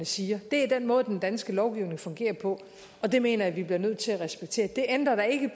siger det er den måde den danske lovgivning fungerer på og det mener jeg vi bliver nødt til at respektere det ændrer da ikke